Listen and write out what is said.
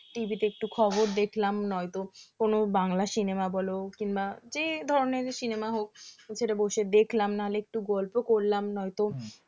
TV তে একটু খবর দেখলাম নয়তো কোনো বাংলা cinema বলো বা যে ধরনেরই cinema হোক সেটা বসে দেখলাম নাহলে একটু গল্প করলাম নয়তো